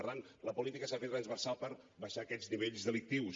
per tant la política s’ha de fer transversal per abaixar aquests nivells delictius